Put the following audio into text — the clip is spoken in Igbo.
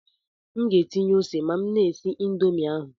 M ga-etinye ose ma m na-esi Indomi ahụ